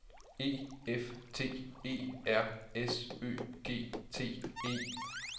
E F T E R S Ø G T E